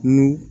N'u